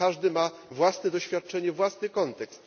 Każdy ma własne doświadczenie, własny kontekst.